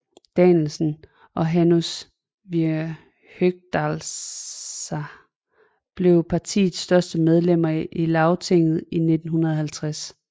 Danielsen og Hanus við Høgadalsá blev partiets første medlemmer af Lagtinget i 1950